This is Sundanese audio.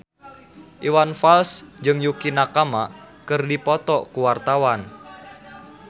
Iwan Fals jeung Yukie Nakama keur dipoto ku wartawan